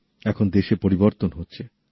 এখন দেশে পরিবর্তন হচ্ছে